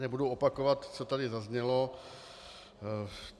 Nebudu opakovat, co tady zaznělo.